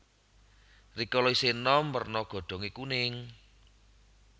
Rikala isih enom werna godhonge kuning